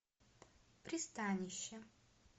пристанище